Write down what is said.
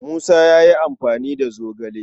Musa ya yi amfani da zogale.